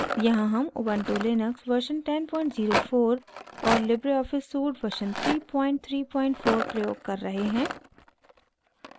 यहाँ हम ubuntu Linux version 1004 और लिबरे ऑफिस suite version 334 प्रयोग कर रहे हैं